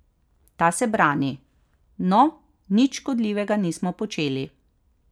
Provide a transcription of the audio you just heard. Ta se brani: 'No, nič škodljivega nismo počeli.